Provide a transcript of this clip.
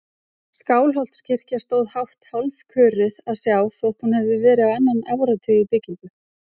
Skálholtskirkja stóð hátt, hálfköruð að sjá þótt hún hefði verið á annan áratug í byggingu.